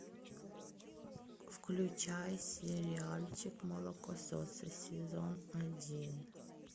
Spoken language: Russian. включай сериальчик молокососы сезон один